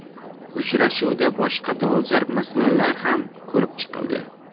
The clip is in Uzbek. Uchrashuvda boshqa dolzarb masalalar ham ko‘rib chiqildi.